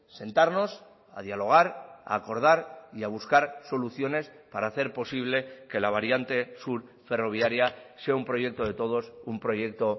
sentarnos a dialogar a acordar y a buscar soluciones para hacer posible que la variante sur ferroviaria sea un proyecto de todos un proyecto